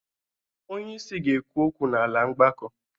Onyeisi ga-ekwu okwu n'ala mgbakọ.